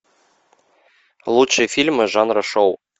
лучшие фильмы жанра шоу